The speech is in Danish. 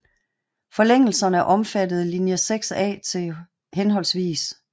Forlængelserne omfattede linje 6A til hhv